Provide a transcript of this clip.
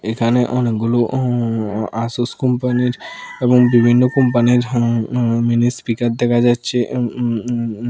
এখানে অনেকগুলো উম আসুস কোম্পানির এবং বিভিন্ন কোম্পানির হুম উম জিনিস স্পিকার দেখা যাচ্ছে উম উম উম--